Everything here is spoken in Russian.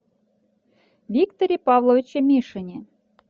викторе павловиче мишине